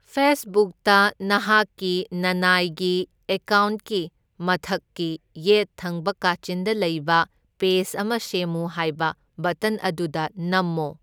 ꯐꯦꯁꯕꯨꯛꯇ, ꯅꯍꯥꯛꯀꯤ ꯅꯅꯥꯏꯒꯤ ꯑꯦꯀꯥꯎꯟꯀꯤ ꯃꯊꯛꯀꯤ ꯌꯦꯠ ꯊꯪꯕ ꯀꯥꯆꯤꯟꯗ ꯂꯩꯕ ꯄꯦꯖ ꯑꯃ ꯁꯦꯝꯃꯨ ꯍꯥꯏꯕ ꯕꯇꯟ ꯑꯗꯨꯗ ꯅꯝꯃꯣ꯫